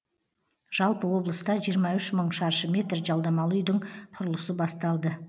жалпы облыста жиырма үш мың шаршы метр жалдамалы үйдің құрылысы басталды